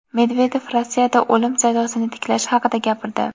Medvedev Rossiyada o‘lim jazosini tiklash haqida gapirdi.